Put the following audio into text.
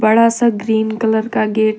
थोड़ा सा green colour का गेट है।